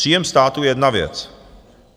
Příjem státu je jedna věc.